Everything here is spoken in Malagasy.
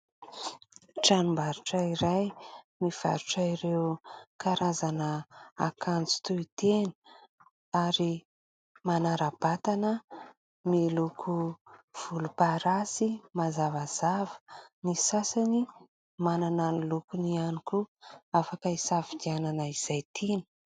Tranombarotra iray mivarotra ireo karazana akanjo toy tena ary manara-batana, miloko volomparasy mazavazava. Ny sasany manana ny lokony ihany koa afaka hisafidianana izay tina.